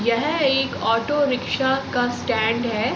यह एक auto rickshaw का स्टैंड है।